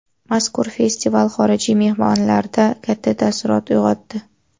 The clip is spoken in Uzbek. Mazkur festival xorijiy mehmonlarda katta taassurot uyg‘otdi.